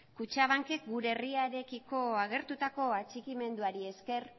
kutxabankek gure herriarekiko agertutako atxikimenduari esker